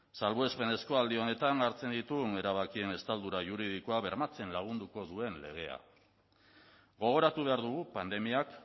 salbuespenezko aldi honetan hartzen ditugun erabakien estaldura juridikoa bermatzen lagunduko duen legea gogoratu behar dugu pandemiak